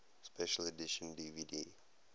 special edition dvd